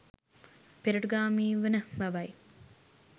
පෙරටුගාමීවන බවයි.